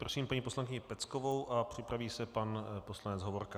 Prosím paní poslankyni Peckovou a připraví se pan poslanec Hovorka.